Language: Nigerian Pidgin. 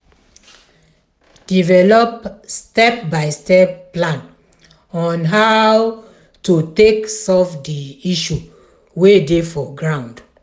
develop step by step plan on how to take solve di issue wey dey for ground